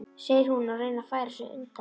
segir hún og reynir að færa sig undan.